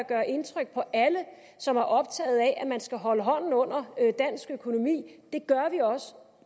gøre indtryk på alle som er optaget af at man skal holde hånden under dansk økonomi